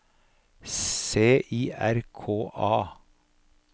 C I R K A